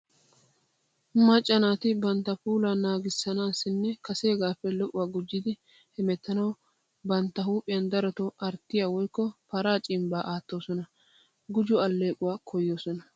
Macca naati bantta puulaa naaganaassinne kaseegaappe lo'uwa gujjidi hemettanawu bantta huuphiyaan darotoo arttiya woykko paraa cimbbaa aattoosona. Gujo alleequwa koyoosona.